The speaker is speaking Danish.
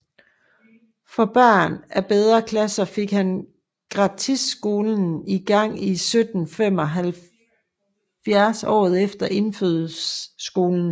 For børn af bedre klasser fik han gratistskolen i gang 1775 og året efter indfødsskolen